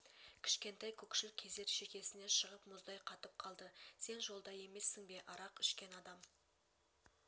кішкентай көкшіл көздер шекесіне шығып мұздай қатып қалды сен жолда емессің бе арақ ішкен адам